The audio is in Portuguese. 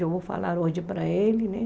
Eu vou falar hoje para ele, né?